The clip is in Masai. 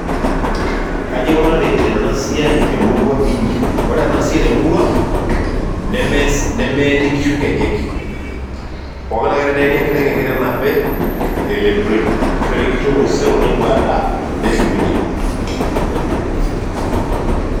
Kaaji ikunari eena siasi te murua iinyi? ore ena siai te murua ang' nemeeni inkishu inkejek. Pookin ake peeni enkiteng', enkiteng' nape elepitoi. Keishori inkishu epuo osero nepuo adaa, neshukunyie.